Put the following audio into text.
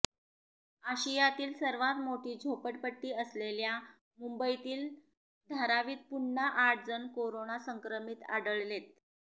आशियातील सर्वात मोठी झोपडपट्टी असलेल्या मुंबईतील धारावीत पुन्हा आठ जण करोना संक्रमित आढळलेत